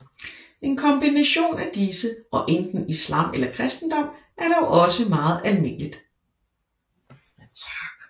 En kombination af disse og enten islam eller kristendom er dog også meget almindeligt